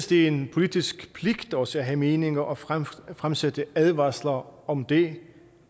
det er en politisk pligt også at have meninger og fremsætte fremsætte advarsler om om det